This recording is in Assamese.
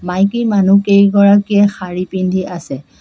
মাইকী মানুহকেইগৰাকীয়ে শাৰী পিন্ধি আছে।